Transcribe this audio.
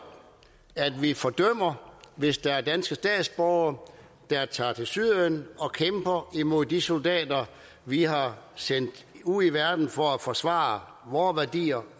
at vi fordømmer hvis der er danske statsborgere der tager til syrien og kæmper mod de soldater vi har sendt ud i verden for at forsvare vore værdier